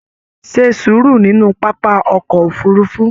Ṣe sùúrù nínú pápá ọkọ òfurùnfu!